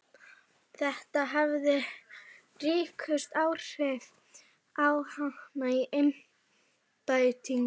Þetta hafi haft ríkust áhrif á hana í embættinu.